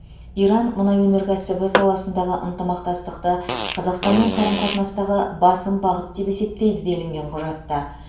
иран мұнай өнеркәсібі саласындағы ынтымақтастықты қазақстанмен қарым қатынастағы басым бағыт деп есептейді делінген құжатта